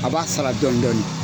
A b'a sara dɔɔni dɔɔni